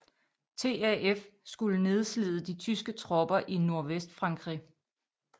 TAF skulle nedslide de tyske tropper i Nordvestfrankrig